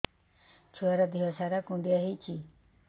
ଛୁଆର୍ ଦିହ ସାରା କୁଣ୍ଡିଆ ହେଇଚି